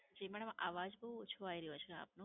જી madam, આવાજ બહુ ઓછો આવી રહ્યો છે આપનો.